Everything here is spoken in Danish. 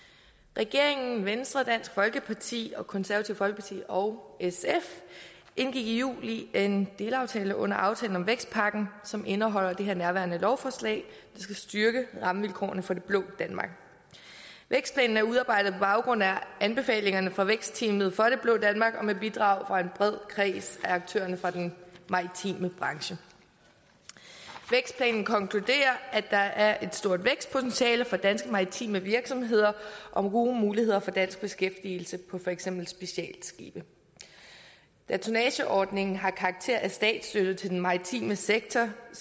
regeringen venstre dansk folkeparti det konservative folkeparti og sf indgik i juli en delaftale under aftalen om vækstpakken som indeholder det nærværende lovforslag der skal styrke rammevilkårene for det blå danmark vækstplanen er udarbejdet på baggrund af anbefalingerne fra vækstteamet fra det blå danmark og med bidrag fra en bred kreds af aktørerne fra den maritime branche vækstplanen konkluderer at der er et stort vækstpotentiale for danske maritime virksomheder og gode muligheder for dansk beskæftigelse på for eksempel specialskibe da tonnageordningen har karakter af statsstøtte til den maritime sektor